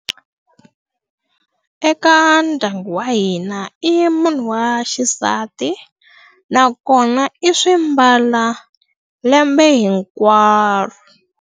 Eka ndyangu wa hina i munhu wa xisati, nakona i swi mbala lembe hinkwaro.